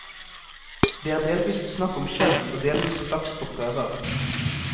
Det er delvis snakk om skjønn og delvis flaks på prøver.